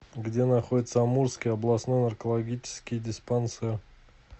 где находится амурский областной наркологический диспансер